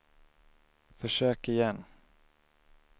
försök igen